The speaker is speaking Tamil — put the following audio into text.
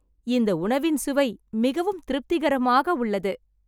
இந்த உணவின் சுவை மிகவும் திருப்திகரமாக உள்ளது